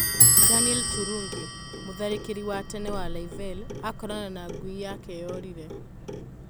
Danieri Turungi: mũtharĩkĩri wa tene wa Livale akorana na ngũi yake yorĩĩye